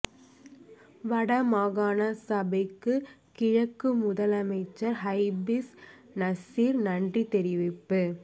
வட மாகாண சபைக்கு கிழக்கு முதலமைச்சர் ஹாபிஸ் நசீர் நன்றி தெரிவிப்பு